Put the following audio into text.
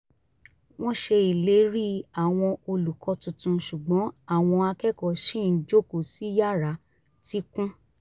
wọ́n ṣe ìlérí àwọn olùkọ́ tuntun ṣùgbọ́n àwọn akẹ́kọ̀ọ́ ṣì ń jókòó sí yará tí kún